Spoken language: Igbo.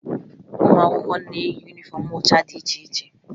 Ụmụ akwụkwọ na-eyi yunifọmụ ụcha dị iche iche